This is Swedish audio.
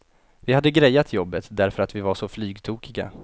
Vi hade grejat jobbet därför att vi var så flygtokiga.